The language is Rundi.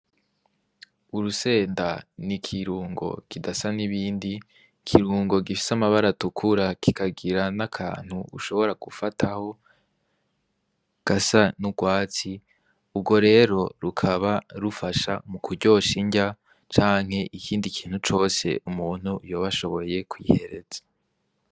Urusenda ni ikirungo kidasa n'ibindi kirungo gifise amabara atukura kikagira n'akantu ushobora gufataho gasa n'urwatsi urwo rero rukaba rufasha mu kuryosha injya canke ikindi kintu cose umuntu yobashoboye kihereza.